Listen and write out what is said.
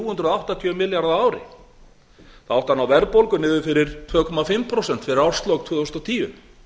hundruð áttatíu milljarða á ári það átti að ná verðbólgu niður fyrir tvö og hálft prósent fyrir árslok tvö þúsund og tíu